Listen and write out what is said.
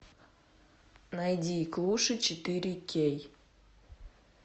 найди клуши четыре кей